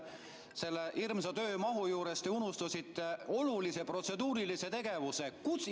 Selle hirmsa töömahu juures te unustasite olulise protseduurilise tegevuse: kutsungi.